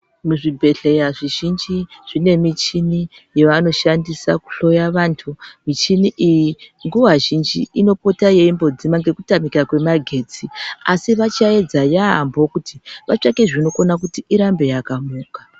Muzvibhedhlera zvizhinji mune michini yavanoshandisa kuhloya vantu michini iyi nguwa zhinji inopota yeimbodzima nekutamika kwemagetsi asi vachaedza yambo vatsvake zvinokona irambe yakamuka.